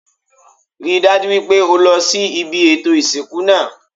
Rí i dájú wípé o lo sí ibi ètò ìsìnkú náà